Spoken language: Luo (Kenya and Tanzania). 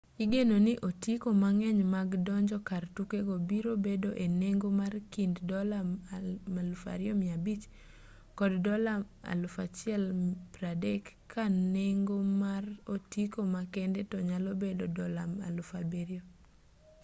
igeno ni otiko mang'eny mag donjo kar tukego biro bedo e nengo mar kind ¥2,500 kod ¥130,000 ka nengo mar otiko makende to nyalo bedo ¥7,000